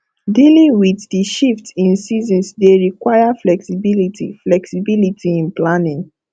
dealing with di shift in seasons dey require flexibility flexibility in planning